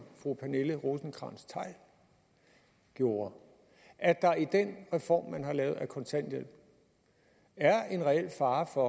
fru pernille rosenkrantz theil gjorde at der i den reform man har lavet af kontanthjælpen er en reel fare for